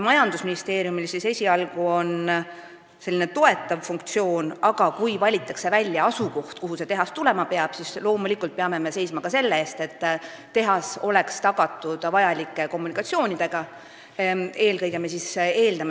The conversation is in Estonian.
Majandusministeeriumil on esialgu selline toetav funktsioon, aga kui valitakse välja asukoht, kuhu tehas tulema peab, siis loomulikult peame seisma ka selle eest, et tehas oleks tagatud vajalike kommunikatsioonidega.